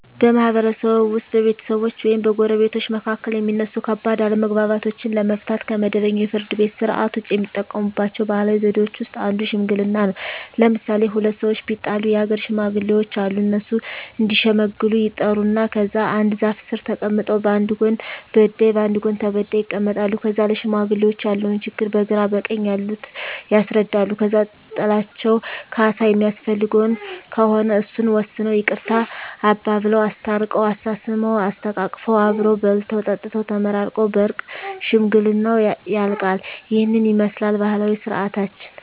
በማህበረሰብዎ ውስጥ በቤተሰቦች ወይም በጎረቤቶች መካከል የሚነሱ ከባድ አለመግባባቶችን ለመፍታት (ከመደበኛው የፍርድ ቤት ሥርዓት ውጪ) የሚጠቀሙባቸው ባህላዊ ዘዴዎች ውስጥ አንዱ ሽምግልና ነው። ለምሣሌ፦ ሁለት ሠዎች ቢጣሉ የአገር ሽማግሌዎች አሉ። እነሱ እዲሸመግሉ ይጠሩና ከዛ አንድ ዛፍ ስር ተቀምጠው በአንድ ጎን በዳይ በአንድ ጎን ተበዳይ ይቀመጣሉ። ከዛ ለሽማግሌዎች ያለውን ችግር በግራ በቀኝ ያሉት ያስረዳሉ። ከዛ ጥላቸው ካሣ የሚያስፈልገው ከሆነ እሱን ወስነው ይቅርታ አባብለው። አስታርቀው፤ አሳስመው፤ አሰተቃቅፈው አብረው በልተው ጠጥተው ተመራርቀው በእርቅ ሽምግልናው ያልቃ። ይህንን ይመስላል ባህላዊ ስርዓታችን።